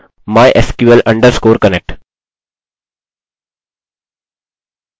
हम यहाँ टाइप करेंगे connect = mysql_connect